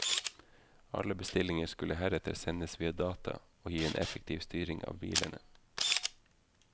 Alle bestillinger skulle heretter sendes via data, og gi en effektiv styring av bilene.